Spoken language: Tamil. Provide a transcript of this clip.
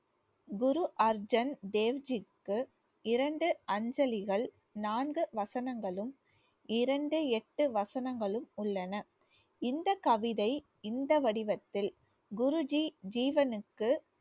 குரு அர்ஜன் தேவ்ஜிக்கு இரண்டு அஞ்சலிகள் நான்கு வசனங்களும் இரண்டு எட்டு வசனங்களும் உள்ளன. இந்தக் கவிதை இந்த வடிவத்தில் குருஜி ஜீவனுக்கு